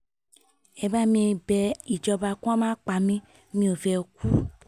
ẹ bá mi bẹ ìjọba kí wọ́n má pa mí mi ò fẹ́ẹ́ kú